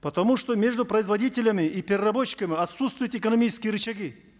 потому что между производителями и переработчиками отсутствуют экономические рычаги